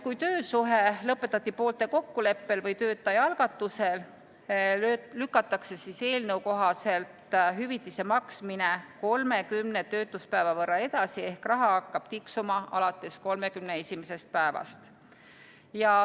Kui töösuhe lõpetati poolte kokkuleppel või töötaja algatusel, lükatakse eelnõu kohaselt hüvitise maksmine 30 töötuspäeva võrra edasi ehk raha hakkab tiksuma alates 31. päevast.